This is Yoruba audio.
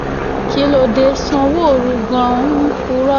kí ló dé tí sanwóoru gan-an ń purọ́